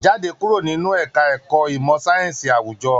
Jáde kúrò nínú ẹka ẹ̀kọ́ ìmọ sáyẹnsì awujọ!